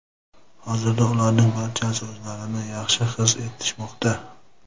Hozirda ularning barchasi o‘zlarini yaxshi his etishmoqda.